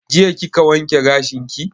Jiya kika wanke gashin ki?